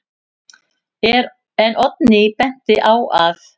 En Oddný benti á að: